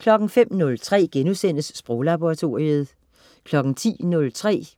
05.03 Sproglaboratoriet* 10.03